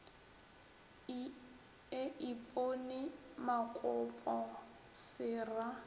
e ipone makopo se ra